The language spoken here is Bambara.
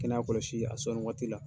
Kɛnɛya kɔlɔsi, a sɔnni waati la.